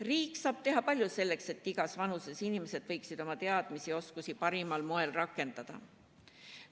Riik saab teha palju selleks, et igas vanuses inimesed võiksid oma teadmisi ja oskusi parimal moel rakendada.